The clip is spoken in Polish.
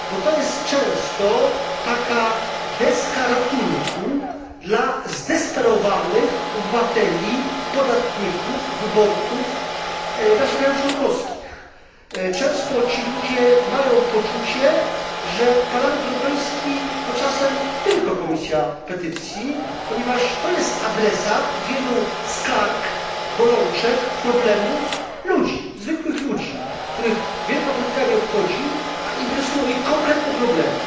Jest ona często deską ratunku dla zdesperowanych obywateli, podatników, wyborców naszych państw członkowskich. Często ci ludzie mają poczucie, że Parlament Europejski to czasem tylko Komisja Petycji, ponieważ jest ona adresatem wielu skarg, bolączek, problemów zwykłych ludzi, których wielka polityka nie obchodzi, lecz interesują ich konkretne problemy.